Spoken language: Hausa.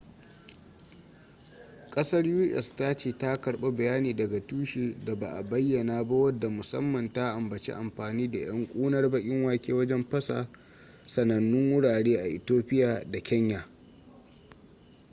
kasar u.s. ta ce ta karba bayani daga tushe da ba a bayyana ba wadda musamman ta ambaci amfani da yan kunar bakin wake wajen fasa sanannu wurare a ethiopia da kenya